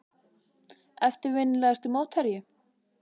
Eftirminnilegasti mótherji?